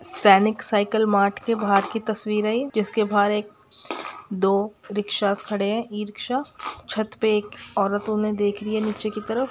सैनिक cycle mart के बहार की तस्वीर हे ये जिसके बहार एक दो रिक्षास खड़े हे इ-रिक्शा छत पे एक औरत उन्हें देख रही है नीचे की तरफ।